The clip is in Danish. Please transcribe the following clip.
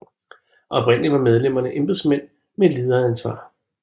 Oprindeligt var medlemmerne embedsmænd med lederansvar